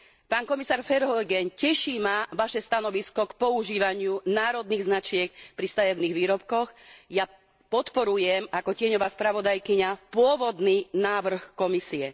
Pán komisár Verheugen, teší ma vaše stanovisko k používaniu národných značiek pri stavebných výrobkoch, ja podporujem ako tieňová spravodajkyňa pôvodný návrh Komisie.